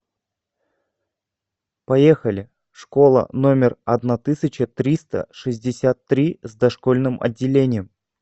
поехали школа номер одна тысяча триста шестьдесят три с дошкольным отделением